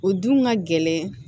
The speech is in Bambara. O dun ka gɛlɛn